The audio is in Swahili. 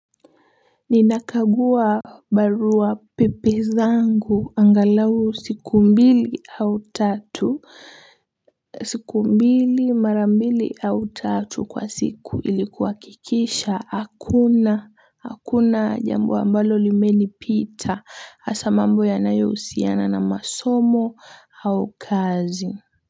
Ninakagua barua pepe zangu angalau siku mbili au tatu siku mbili marambili au tatu kwa siku ili kuhakikisha hakuna hakuna jambo ambalo limenipita hasa mambo yanayohusiana na masomo au kazi.